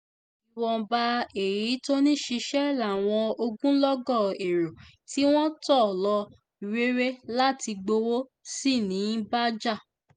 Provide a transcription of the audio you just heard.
ìwọ̀nba èyí tó ń ṣiṣẹ́ làwọn ogunlọ́gọ̀ èrò tí wọ́n tò lọ rere láti gbowó sí ń bá jà